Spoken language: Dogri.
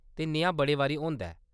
ते नेहा बड़े बारी होंदा ऐ।